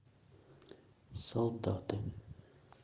солдаты